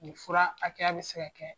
Nin fura a ja bi se ka kɛ